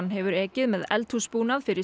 hefur ekið með eldhús búnað fyrir